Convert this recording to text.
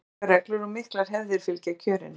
mjög strangar reglur og miklar hefðir fylgja kjörinu